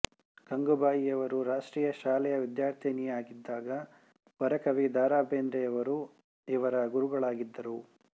ಗಂಗೂಬಾಯಿಯವರು ರಾಷ್ಟ್ರೀಯ ಶಾಲೆಯ ವಿದ್ಯಾರ್ಥಿನಿಯಾಗಿದ್ದಾಗ ವರಕವಿ ದ ರಾ ಬೇಂದ್ರೆಯವರು ಇವರ ಗುರುಗಳಾಗಿದ್ದರು